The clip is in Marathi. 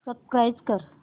सबस्क्राईब कर